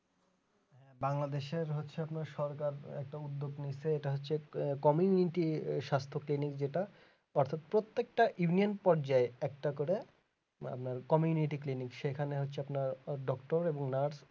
বাংলাদেশের হচ্ছে আপনার সরকার একটা উদ্যোগ নিয়েছে ওটা হচ্ছে community স্বাস্থ training যেটা প্রত্যেকটা event পর্যায়ে একটা করে community clinic সেখানে হচ্ছে আপনার doctor এবং nurse